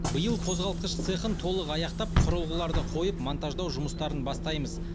биыл қозғалтқыш цехын толық аяқтап құрылғыларды қойып монтаждау жұмыстарын бастаймыз